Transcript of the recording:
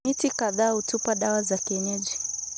Miti kadhaa hutupa dawa za kienyeji